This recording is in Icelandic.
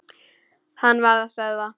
Hann varð að stöðva.